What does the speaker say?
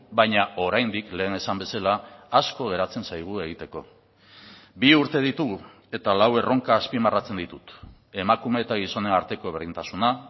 baina oraindik lehen esan bezala asko geratzen zaigu egiteko bi urte ditugu eta lau erronka azpimarratzen ditut emakume eta gizonen arteko berdintasuna